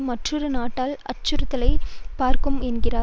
மற்றொரு நாட்டால் அச்சுறுத்தலாக பார்க்கப்படும் என்றார்